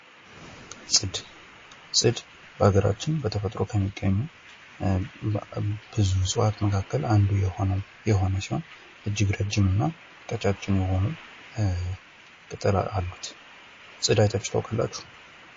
ጽድ በአገራችን በተፈጥሮ ከሚገኙ ብዙ እፅዋት መካከል አንዱ የሆነው የሆነ ሲሆን ፤ እጅግ ረጅምና ቀጫጭን የሆኑ ቅጠል አሉት። ጽድ አይታችሁ ታውቃላች?